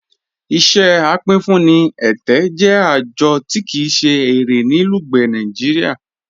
Iṣẹ apínfúnì ẹtẹ jẹ ajọ̀ tí kíi se ẹ̀rẹ̀ ní Lugbe, Nàìjíríà.